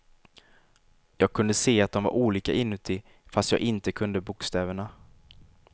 Jag kunde se att dom var olika inuti, fast jag inte kunde bokstäverna.